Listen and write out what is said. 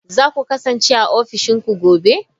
Za ku kasance a ofishin ku gobe?